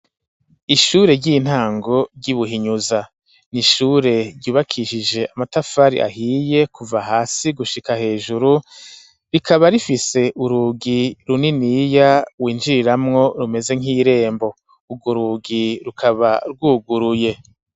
Ishure ry'intango ry'i Buhinyuza, ni ishure ryubakishije amatafari ahiye kuva hasi gushika hejuru, rikaba rifise urugi runiniya winjiriramwo rumeze nk'irembo, urwo rugi rukaba rwuguruye.